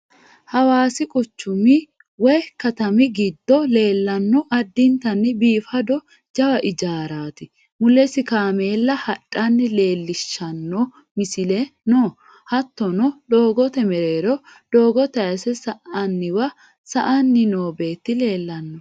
Hawaasi quchumi woyi katami giddo leellanno addintanni biifado jawa ijaaraati. Mulesi kameella hadhanna leellishshanno misileno no. Hattono doogote mereero doogo tayinse sa'nanniwa sa"anni noo beeti leellanno.